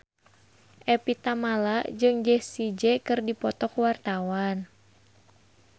Evie Tamala jeung Jessie J keur dipoto ku wartawan